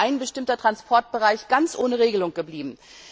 Dann wäre ein bestimmter Transportbereich ganz ohne Regelung geblieben.